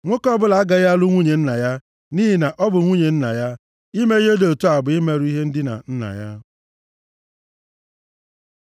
Nwoke ọbụla agaghị alụ nwunye nna ya, nʼihi na ọ bụ nwunye nna ya. Ime ihe dị otu a bụ imerụ ihe ndina nna ya.